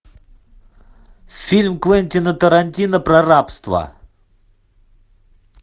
фильм квентина тарантино про рабство